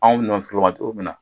Anw nɔnɔ feerelaw ma cogo min na